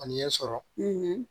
A ni ɲɛ sɔrɔ